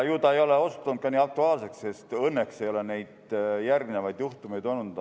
Ju see ei ole osutunud nii aktuaalseks, sest õnneks ei ole järgmisi juhtumeid olnud.